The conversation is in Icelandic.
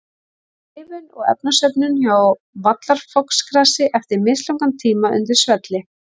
Lifun og efnasöfnun hjá vallarfoxgrasi eftir mislangan tíma undir svelli.